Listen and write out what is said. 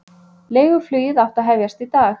Leiguflugið átti að hefjast í dag